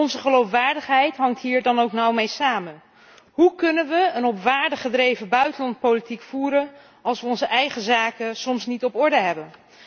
Onze geloofwaardigheid hangt hier dan ook nauw mee samen. Hoe kunnen we een op waarden gebaseerd buitenlands beleid voeren, als we onze eigen zaken soms niet op orde hebben?